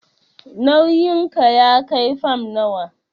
Nauyin ki ya kai fam nawa?